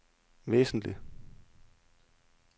væsentligt